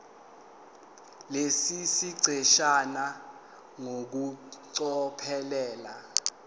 lesi siqeshana ngokucophelela